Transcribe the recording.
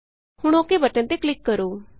ਹੁਣ okay button ਤੇ click ਕਰੋ